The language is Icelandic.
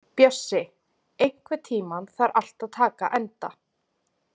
Bjössi, einhvern tímann þarf allt að taka enda.